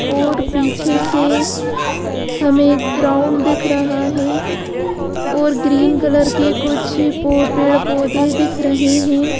और पीछे से हमें ग्राउंड दिख रहा है और ग्रीन कलर के कुछ पौ पेड़ पौधे दिख रहे हैं।